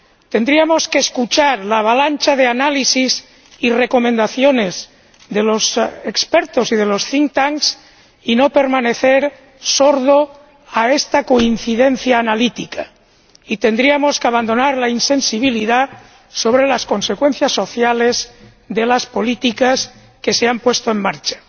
Tendríamos que escuchar la avalancha de análisis y recomendaciones de los expertos y de los think tanks y no permanecer sordos a esta coincidencia analítica, y tendríamos que abandonar la insensibilidad sobre las consecuencias sociales de las políticas que se han puesto en marcha.